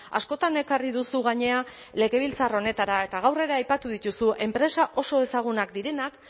askotan ekarri duzu gainera legebiltzar honetara eta gaur ere aipatu dituzu enpresa oso ezagunak direnak